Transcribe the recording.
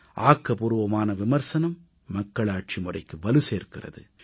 ஆக்கபூர்வமான விமர்சனம் மக்களாட்சி முறைக்கு வலு சேர்க்கிறது